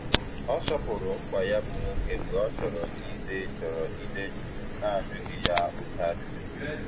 Ọ sọpụrụ mkpa ya bụ nwoke mgbe ọ chọrọ ide chọrọ ide jụụ na ajụghị ya oké ajụjụ